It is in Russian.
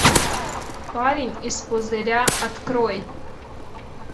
парень из пузыря открой